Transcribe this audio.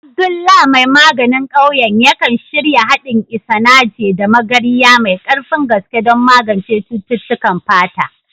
Abdullah mai maganin ƙauyen, yakan shirya haɗin Isanaje da Magarya mai ƙarfin gaske don magance cututtukan fata.